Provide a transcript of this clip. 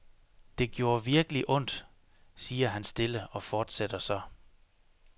Det gjorde virkelig ondt, siger han stille og fortsætter så.